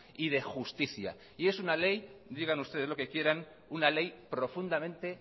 y de justicia y es una ley digan ustedes lo que quieran una ley profundamente